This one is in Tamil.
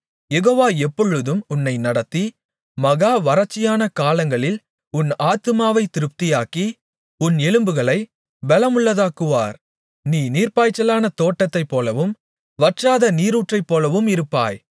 யெகோவா எப்பொழுதும் உன்னை நடத்தி மகா வறட்சியான காலங்களில் உன் ஆத்துமாவைத் திருப்தியாக்கி உன் எலும்புகளை பெலமுள்ளதாக்குவார் நீ நீர்ப்பாய்ச்சலான தோட்டத்தைப் போலவும் வற்றாத நீரூற்றைப்போலவும் இருப்பாய்